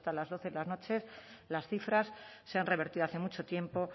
las doce de la noche las cifras se han revertido hace mucho tiempo